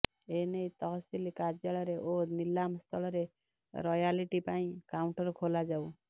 ଏନେଇ ତହସିଲ କାର୍ଯ୍ୟାଳୟରେ ଓ ନିଲାମ ସ୍ଥଳରେ ରୟାଲିଟି ପାଇଁ କାଉଣ୍ଟର ଖୋଲାଯାଉ